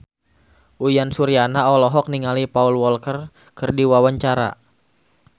Uyan Suryana olohok ningali Paul Walker keur diwawancara